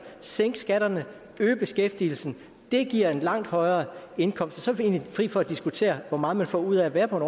sænke skatterne øge beskæftigelsen det giver en langt højere indkomst og så er vi egentlig fri for at diskutere hvor meget man får ud af at være på en